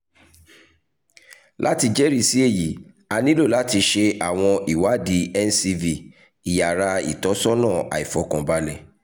lati jẹrisi eyi a nilo lati ṣe awọn iwadi ncv iyara itọsọna aifọkanbalẹ